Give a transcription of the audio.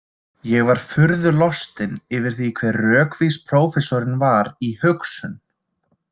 Ég var furðu lostinn yfir því hve rökvís prófessorinn var í hugsun.